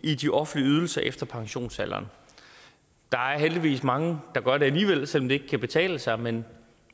i de offentlige ydelser efter pensionsalderen der er heldigvis mange der gør det alligevel selv om det ikke kan betale sig men